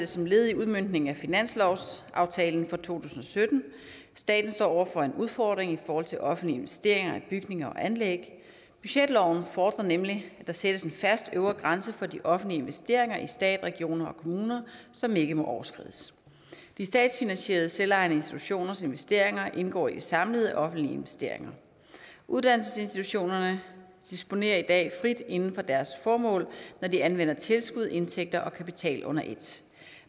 som et led i udmøntningen af finanslovsaftalen for to tusind og sytten staten står over for en udfordring i forhold til offentlige investeringer i bygninger og anlæg budgetloven fordrer nemlig at der sættes en fast øvre grænse for de offentlige investeringer i stat regioner og kommuner som ikke må overskrides de statsfinansierede selvejende institutioners investeringer indgår i de samlede offentlige investeringer uddannelsesinstitutionerne disponerer i dag frit inden for deres formål når de anvender tilskud indtægter og kapital under et